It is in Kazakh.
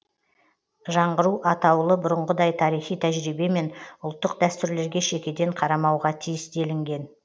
жаңғыру атаулы бұрынғыдай тарихи тәжірибе мен ұлттық дәстүрлерге шекеден қарамауға тиіс делінген